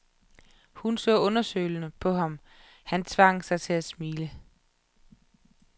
Hun så undersøgende på ham og han tvang sig til at smile.